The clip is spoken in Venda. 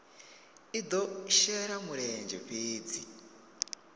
i do shela mulenzhe fhedzi